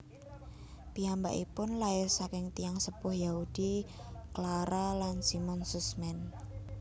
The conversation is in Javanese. Piyambakipun lair saking tiyang sepuh Yahudi Clara lan Simon Sussman